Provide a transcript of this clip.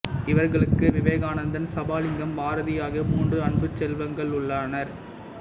இவர்களுக்கு விவேகானந்தன் சபாலிங்கம் பாரதி ஆகிய மூன்று அன்புச் செல்வங்களுளர்